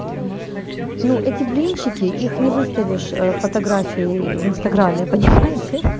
ну эти блинчики их не выставишь фотографии в инстаграме понимаете